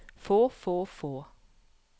få få få